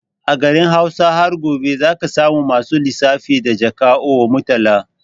A garin Hausa har gobe zaka samu masu lissafi da Jaka or Murtala